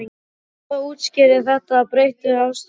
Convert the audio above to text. Hvað útskýrir þessa breyttu afstöðu þína?